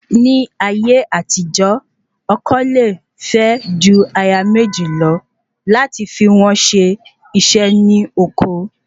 Ni ayé àtijó, ọkọ le fe ju aya meji lọ lati fi won se ise ni oko